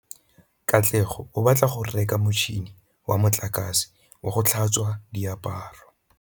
Katlego o batla go reka motšhine wa motlakase wa go tlhatswa diaparo.